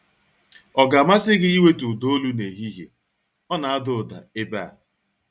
Ọ ga-amasị gị iwetu ụda olu n'ehihie? Ọ na-ada ụda ebe a.